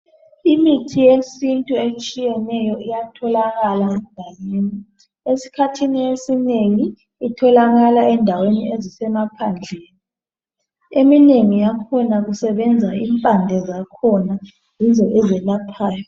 Imithi yesintu etshiyeneyo iyatholakala . Esikhathi esinengi itholakala endaweni ezisemsphandleni eminengi yakhona kusebenza impande zakhona yizo ezelaphayo.